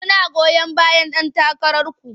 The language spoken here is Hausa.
Muna goyon bayan ɗan takararku.